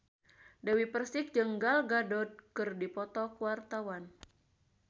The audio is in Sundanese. Dewi Persik jeung Gal Gadot keur dipoto ku wartawan